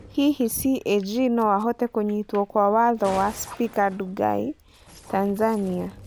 Hihi CAG no ahote kũnyitwo kwa watho wa Spika Ndugai Tanzania?